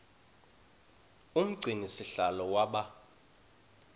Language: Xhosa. umgcini sihlalo waba